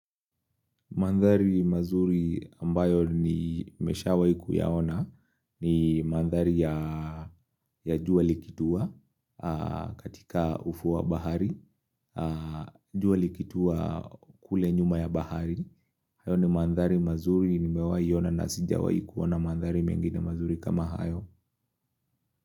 Mandhari mazuri ambayo ni mesha waikuyaona ni mandhari ya jua likituwa katika ufuwa bahari, juali kituwa kule nyuma ya bahari. Hayo ni mandhari mazuri nimewai yona na sija waikuona mandhari mengine mazuri kama hayo.